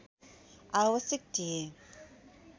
आवश्यक थिए